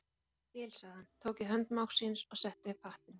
Já, ég skil sagði hann, tók í hönd mágs síns og setti upp hattinn.